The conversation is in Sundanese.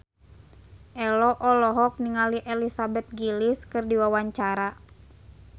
Ello olohok ningali Elizabeth Gillies keur diwawancara